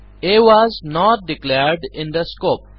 আ was not declared in this scope